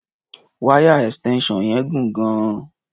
Wáyà extension yẹn gùn gan-an.